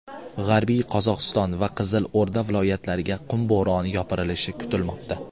G‘arbiy Qozog‘iston va Qizilo‘rda viloyatlariga qum bo‘roni yopirilishi kutilmoqda.